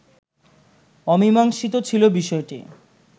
অমীমাংসিত ছিল বিষয়টি